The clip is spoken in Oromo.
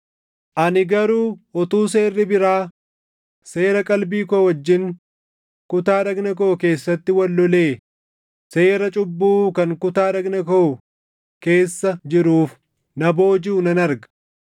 ani garuu utuu seerri biraa seera qalbii koo wajjin kutaa dhagna koo keessatti wal lolee seera cubbuu kan kutaa dhagna koo keessa jiruuf na boojiʼuu nan arga.